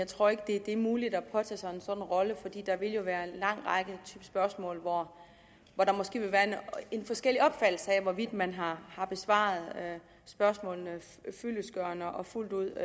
tror det er muligt at påtage sig en sådan rolle fordi der jo vil være en lang række spørgsmål hvor der måske vil være en forskellig opfattelse af hvorvidt man har besvaret spørgsmålene fyldestgørende og fuldt ud